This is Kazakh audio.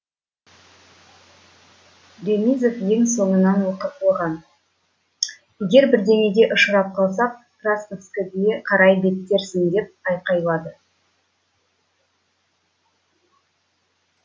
ремизов ең соңынан оған егер бірдеңеге ұшырап қалсақ красноводскіге қарай беттерсің деп айқайлады